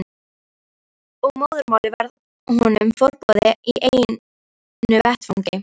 Og móðurmálið varð honum forboðið í einu vetfangi.